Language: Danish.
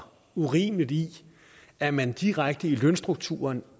urimeligt i at man direkte i lønstrukturen